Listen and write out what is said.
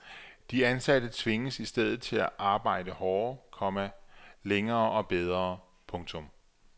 De ansatte tvinges i stedet til at arbejde hårdere, komma længere og bedre. punktum